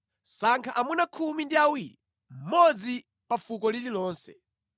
“Sankha amuna khumi ndi awiri, mmodzi pa fuko lililonse.